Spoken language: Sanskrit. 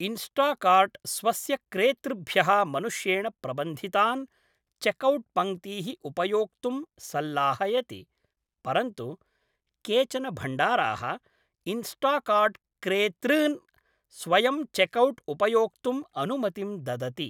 इन्स्टाकार्ट् स्वस्य क्रेतृभ्यः मनुष्येण प्रबन्धितान् चेकौट् पङ्क्तीः उपयोक्तुं सल्लाहयति, परन्तु केचन भण्डाराः इन्स्टाकार्ट् क्रेतॄन् स्वयम्चेकौट् उपयोक्तुम् अनुमतिं ददति।